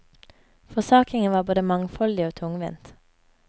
Forsakingen var både mangfoldig og tungvint.